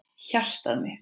Hjartað mitt